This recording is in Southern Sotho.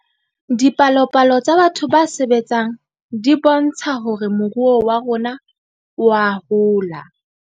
Dipalopalo tsa batho ba sebetseng di bontsha hore moruo wa rona oa hola